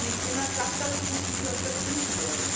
Aber nicht immer klappt das so gut, wie wir es uns wünschen.